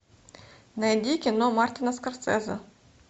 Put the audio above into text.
найди кино мартина скорсезе